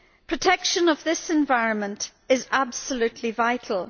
Protection of this environment is absolutely vital.